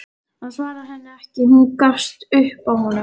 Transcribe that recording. Hann svarar henni ekki, hún gefst upp á honum.